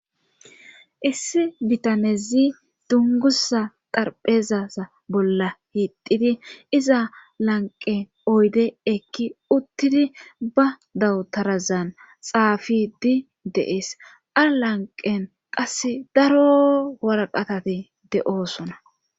issi bitanezi dungusa xarphezaza bolla hiididi iza lanqe oyde ekki uttidi ba dawutarazan xaafidi deees alanqen qasse daro warqatate de7oosona